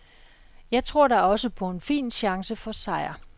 Jeg tror da også på en fin chance for sejr.